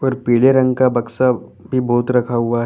और पीले रंग का बक्सा भी बहुत रखा हुआ है।